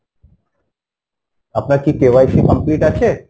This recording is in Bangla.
আপনার কি KYC complete আছে?